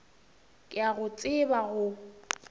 ke a go tseba o